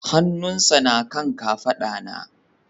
Hannunsa na kan kafada na